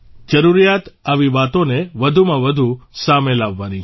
જરૂરિયાત આવી વાતોને વધુમાં વધુ સામે લાવવાની છે